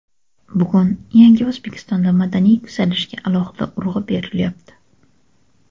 Bugun yangi O‘zbekistonda madaniy yuksalishga alohida urg‘u berilyapti.